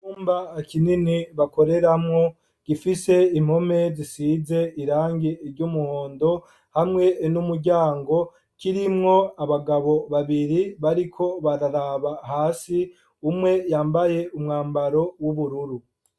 Icumba kinini bakoreramwo gifise impome zisize irangi ry'umuhondo, hamwe n'umuryango kirimwo abagabo babiri bariko bararaba hasi, umwe yambaye umwabaro w'ubururu.